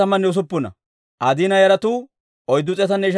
Nas'oofa katamaa Asay 56.